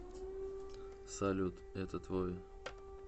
салют это твой